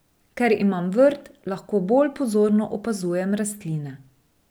Ker imam vrt, lahko bolj pozorno opazujem rastline.